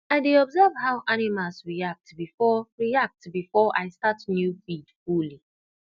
i dey observe how animals react before react before i start new feed fully